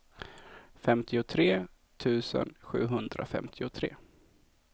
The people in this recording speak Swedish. femtiotre tusen sjuhundrafemtiotre